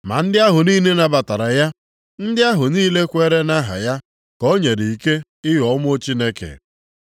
Ma ndị ahụ niile nabatara ya, ndị ahụ niile kweere nʼaha ya ka o nyere ike ịghọ ụmụ Chineke.